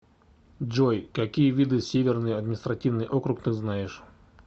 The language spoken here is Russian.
джой какие виды северный административный округ ты знаешь